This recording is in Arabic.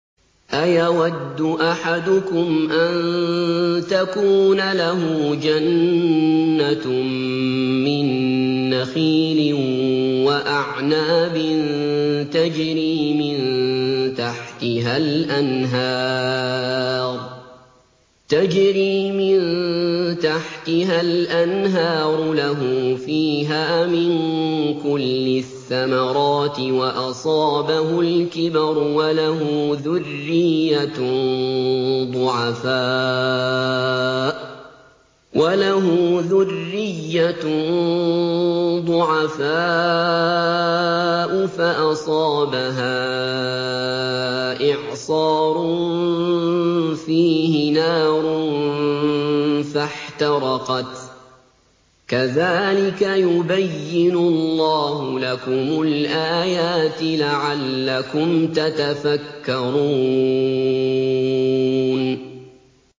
أَيَوَدُّ أَحَدُكُمْ أَن تَكُونَ لَهُ جَنَّةٌ مِّن نَّخِيلٍ وَأَعْنَابٍ تَجْرِي مِن تَحْتِهَا الْأَنْهَارُ لَهُ فِيهَا مِن كُلِّ الثَّمَرَاتِ وَأَصَابَهُ الْكِبَرُ وَلَهُ ذُرِّيَّةٌ ضُعَفَاءُ فَأَصَابَهَا إِعْصَارٌ فِيهِ نَارٌ فَاحْتَرَقَتْ ۗ كَذَٰلِكَ يُبَيِّنُ اللَّهُ لَكُمُ الْآيَاتِ لَعَلَّكُمْ تَتَفَكَّرُونَ